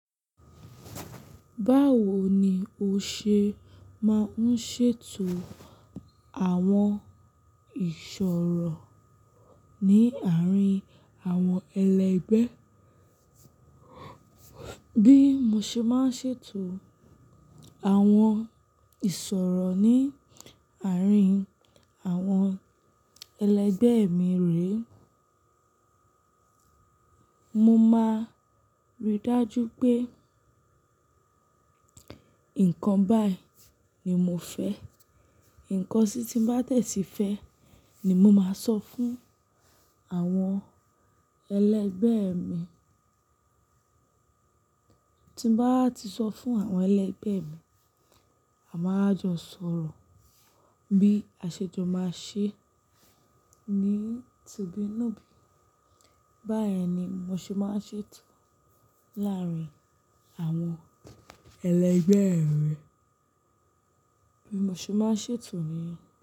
Báwo ni o ṣe máa ń ṣètò àwọn ìṣòro ní àárín àwọn ẹlẹgbẹ́? Bí mo ṣe máa ń ṣètò àwọn ìṣòro ní àárín àwọn ẹlẹgbẹ́ mi rè, mo máa rí i dájú pé nǹkan báyìí ni mo fẹ́. Ǹkan si tí bá de ti fẹ́ ni mo máa sọ fún àwọn ẹlẹgbẹ́ mi. Tí bá ti sọ fún àwọn ẹlẹgbẹ́ mi, a máa jọ sọ̀rọ̀ bí àṣejo máa ṣe ní, tu bi nu bí. Báyìí ni mo ṣe máa ń ṣètò láàárín àwọn ẹlẹgbẹ́ mi. Bí mo ṣe máa ń ṣètò ní.